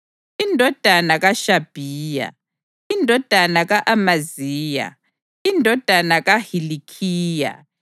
indodana kaHashabhiya, indodana ka-Amaziya, indodana kaHilikhiya,